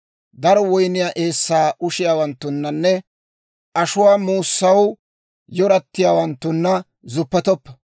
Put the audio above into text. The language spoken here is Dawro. Daro woyniyaa eessaa ushiyaawanttunanne ashuwaa muussaw yaaretiyaawanttuna zuppetoppa;